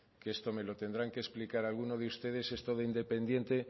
que esto me lo tendrán que explicar alguno de ustedes esto de independiente